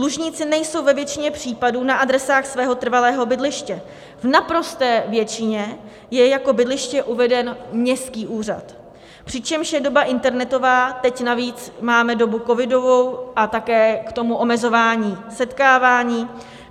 Dlužníci nejsou ve většině případů na adresách svého trvalého bydliště, v naprosté většině je jako bydliště uveden městský úřad, přičemž je doba internetová, teď navíc máme dobu covidovou a také k tomu omezování setkávání.